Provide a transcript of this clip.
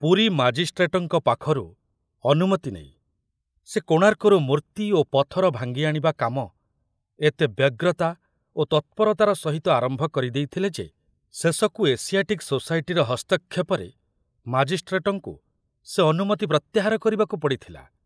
ପୁରୀ ମାଜିଷ୍ଟ୍ରେଟଙ୍କ ପାଖରୁ ଅନୁମତି ନେଇ ସେ କୋଣାର୍କରୁ ମୂର୍ତ୍ତି ଓ ପଥର ଭାଙ୍ଗି ଆଣିବା କାମ ଏତେ ବ୍ୟଗ୍ରତା ଓ ତତ୍ପରତାର ସହିତ ଆରମ୍ଭ କରି ଦେଇଥିଲେ ଯେ, ଶେଷକୁ ଏସିଆଟିକ ସୋସାଇଟିର ହସ୍ତକ୍ଷେପରେ ମାଜିଷ୍ଟ୍ରେଟଙ୍କୁ ସେ ଅନୁମତି ପ୍ରତ୍ୟାହାର କରିବାକୁ ପଡ଼ିଥିଲା।